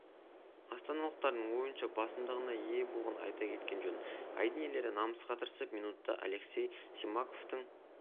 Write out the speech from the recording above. астаналықтардың ойыншы басымдығына ие болғанын айта кеткен жөн айдын иелері намысқа тырысып минутта алексей симаковтың